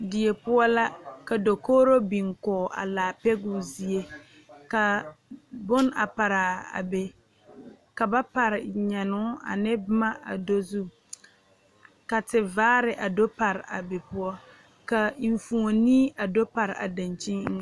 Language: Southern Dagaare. Die poɔ la ka dokogro biŋ kɔge a laa pɛgoo zie kaa bone a paraa a be ka ba pare nyɛnoo ane boma a do zu ka tivaare a do pare a be poɔ ka enfuone a do pare a dankyini eŋɛ.